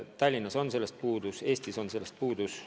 Tallinnas on sellest võimalusest puudus, kogu Eestis on sellest puudus.